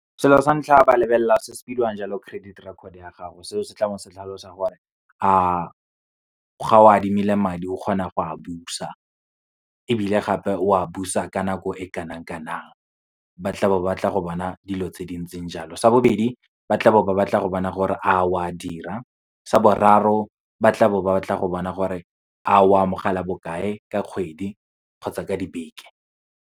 Selo sa ntlha, ba lebelela se se bidiwang jalo credit record ya gago, seo se tla bo se tlhalosa gore a ga o adimile madi, o kgona go a busa ebile gape, o a busa ka nako e kanang kanang. Ba tla bo batla go bona dilo tse di ntseng jalo. Sa bobedi, ba tla bo ba batla go bona gore a oa dira. Sa boraro, ba tla bo ba batla go bona gore a o amogela bokae ka kgwedi kgotsa ka dibeke.